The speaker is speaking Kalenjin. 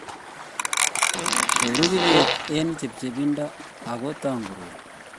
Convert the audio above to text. koru kibet eng chepchepindo ako tangurur